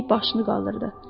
Linni başını qaldırdı.